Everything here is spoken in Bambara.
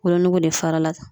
Wolonugu de fara la